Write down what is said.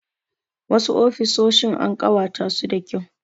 Wasu ofisoshin an ƙawata su da kyau.